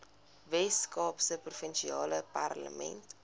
weskaapse provinsiale parlement